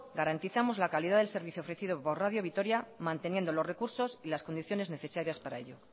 garantizamos la calidad del servicio ofrecido por radio vitora manteniendo los recursos y las condiciones necesarias para ello